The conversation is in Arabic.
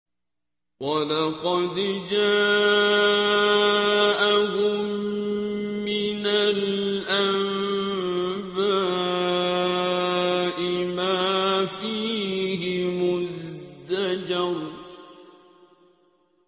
وَلَقَدْ جَاءَهُم مِّنَ الْأَنبَاءِ مَا فِيهِ مُزْدَجَرٌ